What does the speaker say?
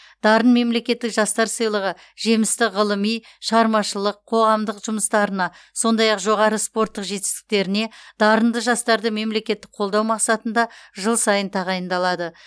дарын мемлекеттік жастар сыйлығы жемісті ғылыми шығармашылық қоғамдық жұмыстарына сондай ақ жоғары спорттық жетістіктеріне дарынды жастарды мемлекеттік қолдау мақсатында жыл сайын тағайындалады